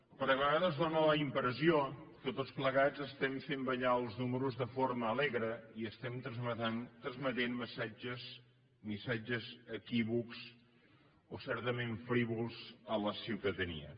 perquè a vegades dóna la impressió que tots plegats estem fent ballar els números de forma alegre i estem transmetent missatges equívocs o certament frívols a la ciutadania